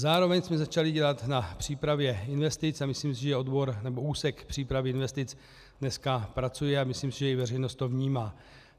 Zároveň jsme začali dělat na přípravě investic a myslím si, že úsek přípravy investic dneska pracuje, a myslím si, že i veřejnost to vnímá.